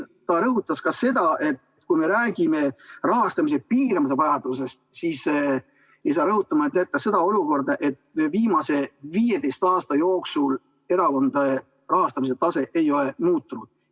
Ta ütles ka seda, et kui me räägime rahastamise piiramise vajadusest, siis ei saa jätta rõhutamata, et viimase 15 aasta jooksul erakondade rahastamise tase ei ole muutunud.